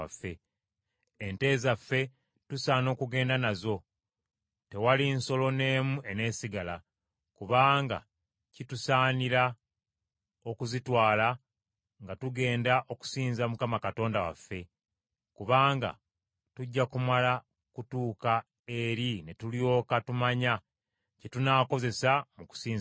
Ente zaffe tusaana okugenda nazo; tewali nsolo n’emu eneesigala. Kubanga kitusaanira okuzitwala nga tugenda okusinza Mukama Katonda waffe; kubanga tujja kumala kutuuka eri, ne tulyoka tumanya kye tunaakozesa mu kusinza Mukama .”